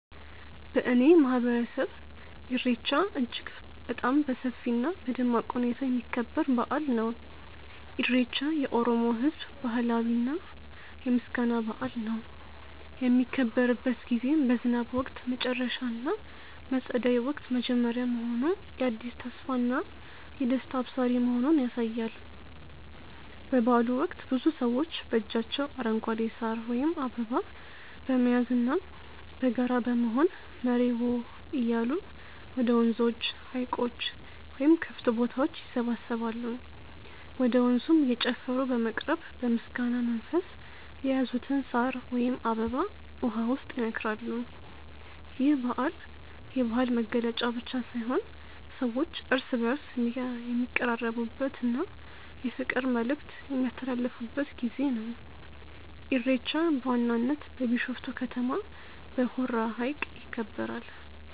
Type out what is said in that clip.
በእኔ ማህበረሰብ ኢሬቻ እጅግ በጣም በሰፊ እና በደማቅ ሁኔታ የሚከበር በአል ነው። ኢሬቻ የኦሮሞ ህዝብ ባህላዊ የምስጋና በአል ነው። የሚከበርበት ጊዜም በዝናብ ወቅት መጨረሻ እና በፀደይ ወቅት መጀመሪያ መሆኑ የአዲስ ተስፋና ደስታ አብሳሪ መሆኑን ያሳያል። በበአሉ ወቅት ብዙ ሰዎች በእጃቸው አረንጓዴ ሳር ወይም አበባ በመያዝና በጋራ በመሆን "መሬዎ" እያሉ ወደ ወንዞች፣ ሀይቆች ወይም ክፍት ቦታዎች ይሰባሰባሉ። ወደ ወንዙም እየጨፈሩ በመቅረብ በምስጋና መንፈስ የያዙትን ሳር ወይም አበባ ውሃው ውስጥ ይነክራሉ። ይህ በዓል የባህል መገለጫ ብቻ ሳይሆን ሰዎች እርስ በእርስ የሚቀራረቡበት እና የፍቅር መልዕክት የሚያስተላልፉበት ጊዜ ነው። ኢሬቻ በዋናነት በቢሾፍቱ ከተማ በሆራ ሀይቅ ይከበራል።